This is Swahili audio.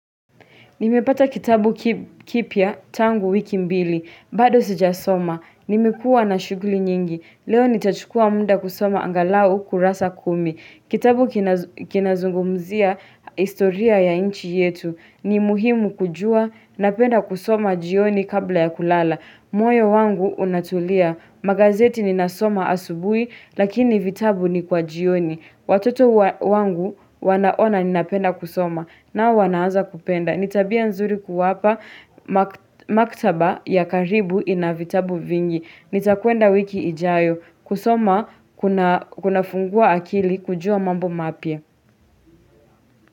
Nimepata kitabu kipya tangu wiki mbili. Bado sijasoma, nimekuwa na shughuli nyingi. Leo nitachukuwa muda kusoma angalau kurasa kumi, kitabu kinazungumzia historia ya nchi yetu. Ni muhimu kujua. Napenda kusoma jioni kabla ya kulala, moyo wangu unatulia. Magazeti ninasoma asubuhi, lakini vitabu ni kwa jioni. Watoto wangu wanaona ninapenda kusoma nao wanaanza kupenda. Ni tabia nzuri kuwapa makhtaba ya karibu ina vitabu vingi. Nitakwenda wiki ijayo kusoma. Kunafungua akili kujua mambo mapya.